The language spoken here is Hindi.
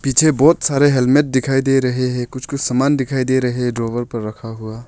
पीछे बहोत सारे हेलमेट दिखाई दे रहे हैं कुछ कुछ सामान दिखाई दे रहे हैं ड्रावर पर रखा हुआ।